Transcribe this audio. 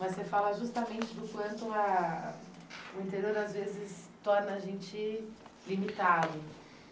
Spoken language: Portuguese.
Mas você fala justamente do quanto ah o interior às vezes torna a gente limitado.